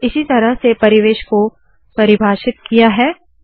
इसी तरह से परिवेश को परिभाषित किया है